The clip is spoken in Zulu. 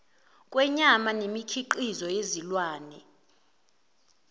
kwenyama nemikhiqizo yezilwane